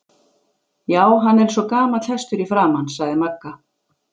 Já, hann er eins og gamall hestur í framan sagði Magga.